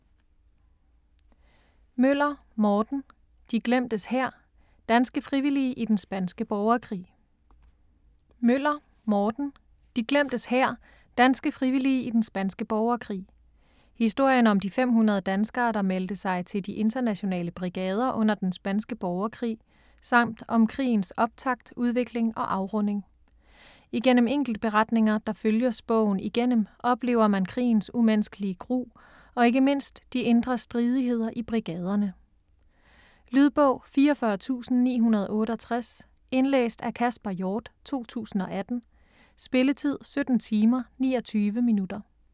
Møller, Morten: De glemtes hær: danske frivillige i den spanske borgerkrig Historien om de 500 danskere der meldte sig til De Internationale Brigader under den spanske borgerkrig, samt om krigens optakt, udvikling og afrunding. Igennem enkeltberetninger, der følges bogen igennem, oplever man krigens umenneskelige gru, og ikke mindst de indre stridigheder i brigaderne. Lydbog 44968 Indlæst af Kasper Hjort, 2018. Spilletid: 17 timer, 29 minutter.